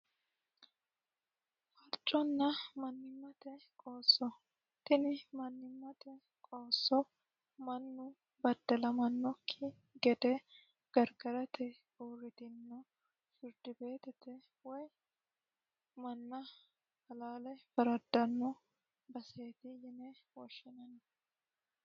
farconna mannimmate qoosso tini mannimmate qoosso mannu baddalamannokki gede gargarate uurritino firdibeetite woy manna halaale faraddanno baseeti yine woshshinanni